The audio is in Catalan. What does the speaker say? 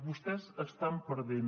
vostès estan perdent